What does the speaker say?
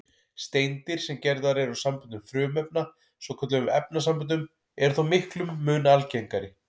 Steindir, sem gerðar eru úr samböndum frumefna, svokölluðum efnasamböndum, eru þó miklum mun algengari.